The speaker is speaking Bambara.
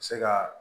Se ka